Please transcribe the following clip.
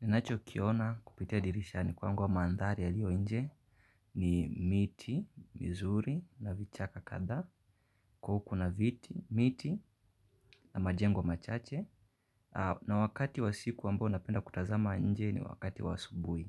Ninacho kiona kupitia dirisha ni kwangwa mandhari yaliyo nje ni miti, mizuri, na vichaka kadha, kukona viti, miti, na majengo machache. Na wakati wa siku ambao napenda kutazama nje ni wakati wa asubuhi.